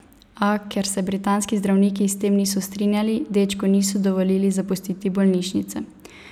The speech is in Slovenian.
A, ker se britanski zdravniki s tem niso strinjali, dečku niso dovolili zapustiti bolnišnice.